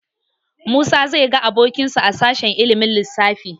Musa zai ga abokinsa a sashen ilimin lissafi.